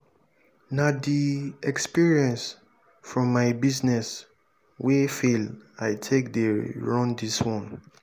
na di experience from my business wey fail i take dey run dis one.